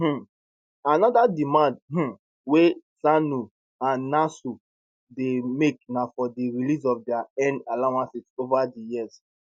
um anoda demand um wey ssanu and nasu dey make na for di release of dia earned allowances ova di years